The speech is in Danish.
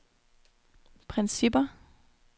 principper